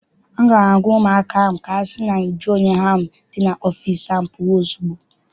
A ga m agwa ụmụaka ahụ ka sị na nju oyi ahụ dị n'ime ọfịịsi ahụ pụọ ozugbo!